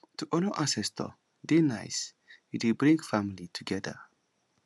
to honour ancestor dey nice e dey bring family together